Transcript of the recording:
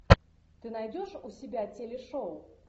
ты найдешь у себя телешоу